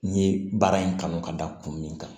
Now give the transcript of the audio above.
N ye baara in kanu ka da kun min kan